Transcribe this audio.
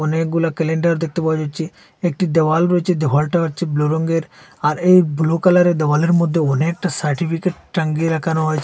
অনেকগুলা ক্যালেন্ডার দেখতে পাওয়া যাচ্ছে একটি দেওয়াল রয়েছে দেওয়ালটা হচ্ছে ব্লু রঙ্গের আর এই ব্লু কালারের দেওয়ালের মধ্যে অনেকটা সার্টিফিকেট টাঙ্গিয়ে রাখানো হয়েছে।